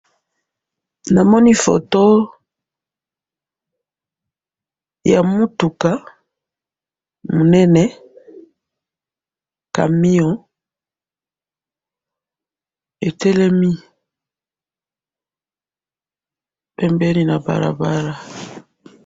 Namoni foto, ya mutuka, munene, camion, etelemi, pembeni na balabala.